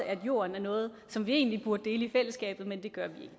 at jorden er noget som vi egentlig burde dele i fællesskabet men det gør vi